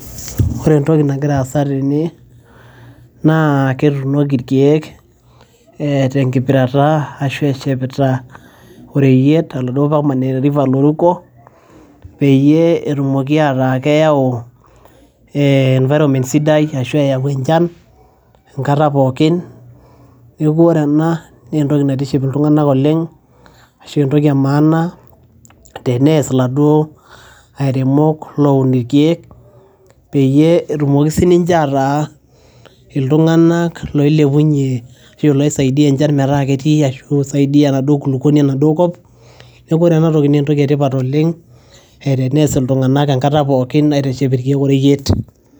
Ore entoki nagira aasa tene naa etunoki ilkeek te nkipirata ashu eshepita oreyiet oladuo permanent loruko peyie etumoki ataa keyau environment sidai ashu eyau enchan enkata pookin neaku ore ena naa entoki naitiship iltung'ana oleng' ashu entoki e maana te neas iladuo airimok loun ilkiek, peyie etumoki sii ninche ataa iltung'ana oilepunye ashu loisaidia enchan metaa ketii ashu eisadia enkulukuoni enaduo kop. Neaku ore enaa toki naa entoki e tipat oleng' e teneas iltung'ana enkata pooki aiteshep ilkiek oreyiet.